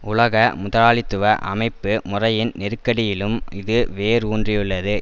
உலக முதலாளித்துவ அமைப்பு முறையின் நெருக்கடியிலும் இது வேர் ஊன்றியுள்ளது